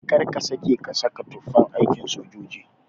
Kar ka sake ka sa tufan aikin sojoji